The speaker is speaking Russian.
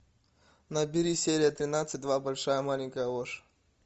набери серия тринадцать два большая маленькая ложь